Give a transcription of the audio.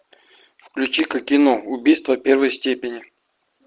включи ка кино убийство первой степени